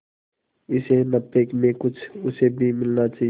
इस नफे में कुछ उसे भी मिलना चाहिए